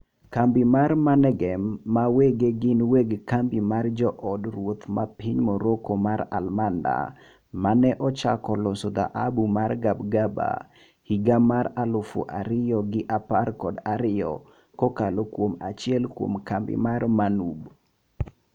Kambi mar Managem ma wege gin weg kambi mar jo od ruodhi ma piny Morocco mar Almanda maneochako loso dhahabu mar Gabgaba higa mar aluf ariyo gi apar kod ariyo kokalo kuom achiel kuom kambi mar MANUB